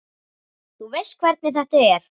Þú veist hvernig þetta er.